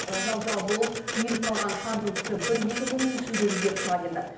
жал жал болып үйіліп қалған қардың түсі бір екі күннің ішінде өзгеріп шыға келді